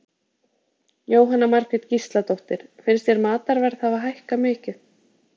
Jóhanna Margrét Gísladóttir: Finnst þér matarverð hafa hækkað mikið?